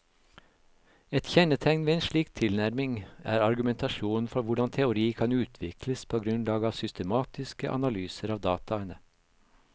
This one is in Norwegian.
Et kjennetegn ved en slik tilnærming er argumentasjonen for hvordan teori kan utvikles på grunnlag av systematiske analyser av dataene.